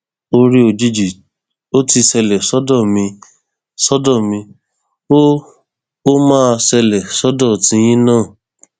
oore òjijì ò ti ṣẹlẹ sọdọ mi sọdọ mi o ó máa ṣẹlẹ sọdọ tiyín náà